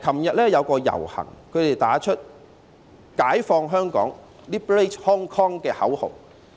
昨天有遊行人士打着"解放香港"的口號。